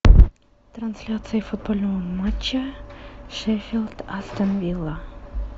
трансляция футбольного матча шеффилд астон вилла